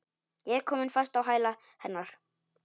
Ég er komin fast á hæla hennar.